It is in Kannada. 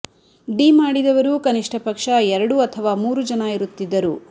ಡಿ ಮಾಡಿದವರು ಕನಿಷ್ಟ ಪಕ್ಷ ಎರಡು ಅಥವಾ ಮೂರು ಜನ ಇರುತ್ತಿದ್ದರು